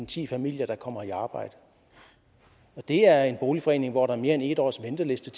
ti familier der kommer i arbejde og det er en boligforening hvor der er mere end et års venteliste